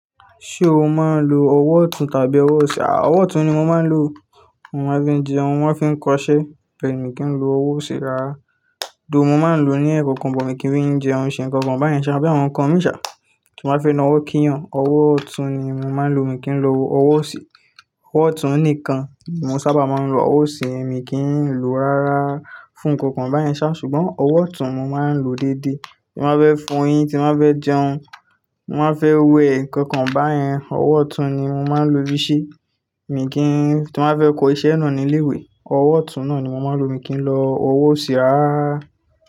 Ṣé o máa ń lo ọwọ́ ọ̀tún tàbí ọwọ́ òsì? Àa ọ̀tún ni mo máa ń lo. Mo máa ń fi jẹun, wọ́n fi ń kọṣẹ́. Bẹ̀e ni mi kì í lo ọwọ́ òsì rárá. Though, mo máa ń lọ ní ẹ̀kankan o, bọ̀ mí kì í fi ń jẹun ṣe ǹkan kan báyẹn ṣá, bí àwọn ǹkan mi ṣá, tí mo bá fẹ́ na ọwọ́ kínyàn, ọwọ́ ọ̀tún ni mo máa ń lo. Mi kì í lo ọwọ́ òsì. Ọwọ́ ọ̀tún nìkan. Mo sábà máa ń lo ọwọ́ òsì, èmi kì í n lòó rárá fún ǹkan kan báyẹn ṣá, ṣùgbọ́n ọwọ́ ọ̀tún mo máa ń lò ó déédé. N bá fẹ́ fọ eyín, tí n bá fẹ́ jẹun, mo má fẹ́ wẹ ǹkan kan báyẹn, ọwọ́ ọ̀tún ni mo máa ń lo fí i ṣe. Mi kì í n, tí n bá fẹ́ kọ iṣẹ́ náà ní ilé ìwé, ọwọ́ ọ̀tún náà ni mo máa ń lo. Mi kì í lo ọwọ́ òsì rárá.